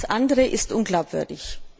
Alles andere ist unglaubwürdig.